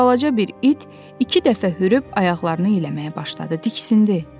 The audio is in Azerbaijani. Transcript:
Və balaca bir it iki dəfə hürüb ayaqlarını eləməyə başladı, diksindi.